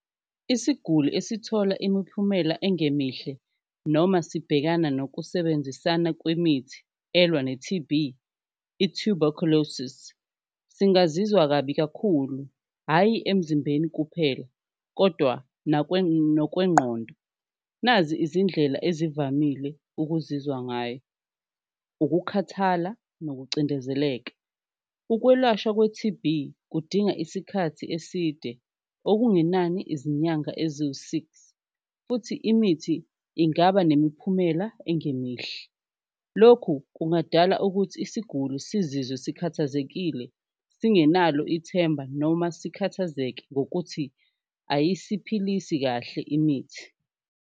Isiguli esithola imiphumela engemihle noma sibhekana nokusebenzisana kwemithi elwa ne-T_B, i-Tuberculosis singazizwa kabi kakhulu, hhayi emzimbeni kuphela kodwa nokwengqondo, nazi izindlela ezivamile ukuzizwa ngayo. Ukukhathala nokucindezeleka, ukwelashwa kwe-T_B kudinga isikhathi eside okungenani izinyanga eziwu-six, futhi imithi ingaba nemiphumela engemihle. Lokhu kungadala ukuthi isiguli sizizwe sikhathazekile singenalutho ithemba noma sikhathazeke ngokuthi ayisiphilisi kahle imithi.